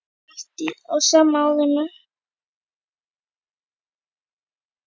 Allt á sama árinu.